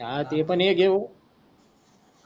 हा ते पण एक हेहो